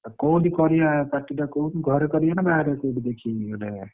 ଓଃ !ଆଉ କୋଉଠି କରିଆ party ଟା କରିଆ କହୁନୁ ଘରେ କରିବା ନା ବାହାରେ କୋଉଠି ଦେଖିକି ଗୋଟେ?